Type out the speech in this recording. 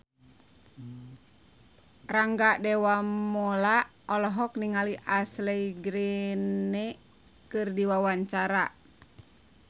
Rangga Dewamoela olohok ningali Ashley Greene keur diwawancara